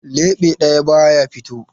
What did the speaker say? Leɓe ɗaya ba ya fito.